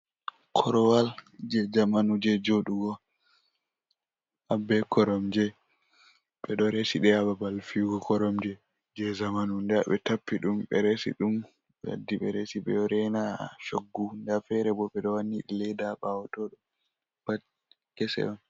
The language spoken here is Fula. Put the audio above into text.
Korowal je zamanu je joɗugo abbe koromje ɓeɗo resi ɗe ha babal fiyugo koromje je zamanu nda ɓe tappi ɗum be resi ɗum be waddi be resi ɓeɗo reina shoggu, nda fere bo ɓeɗo wani ledda bawo to ɗo pat kese on.